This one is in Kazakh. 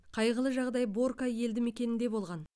қайғылы жағдай борка елдімекенінде болған